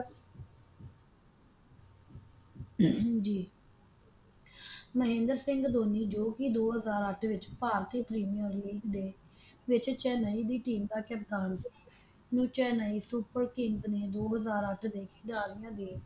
ਹਮ ਜੀ ਮਹਿੰਦਰ ਸਿੰਘ ਧੋਨੀ ਦੋ ਹਜ਼ਾਰ ਅੱਠ ਵਿੱਚ ਭਾਰਤੀ ਪ੍ਰੀਮੀਅਮ ਲੀਗ ਦੇ ਵਿੱਚ ਚੇੱਨਈ ਦੀ ਟੀਮ ਦਾ ਕਪਤਾਨ ਬਣੇ ਚੇੱਨਈ ਕਿੰਗਜ਼ ਨੇ ਦੋ ਹਜਾਰ ਅੱਠ ਵਿਚ ਖਿਡਾਰੀਆਂ ਦੇ